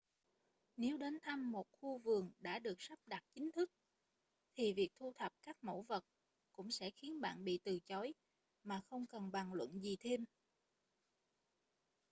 nếu đến thăm một khu vườn đã được sắp đặt chính thức thì việc thu thập các mẫu vật cũng sẽ khiến bạn bị từ chối mà không cần bàn luận gì thêm